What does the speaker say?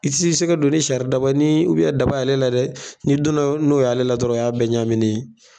I tɛ sɛ ka don ni sari daba ni daba ale la dɛ ni donna n'o ye ale la dɔrɔn o ya bɛɛ ɲaminɛ ye.